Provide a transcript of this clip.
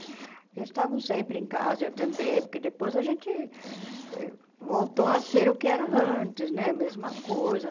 Eles estavam sempre em casa, eu também, porque depois a gente voltou a ser o que era antes, né, a mesma coisa.